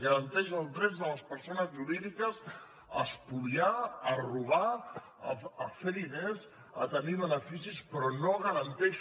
garanteix els drets de les perso·nes jurídiques a espoliar a robar a fer diners a tenir beneficis però no garanteix